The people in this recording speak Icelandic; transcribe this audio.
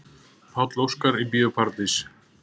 Páll Óskar í Bíó Paradís